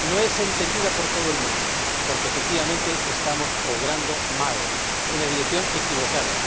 no es entendida por todo el mundo, porque, efectivamente, estamos obrando mal, en la dirección equivocada.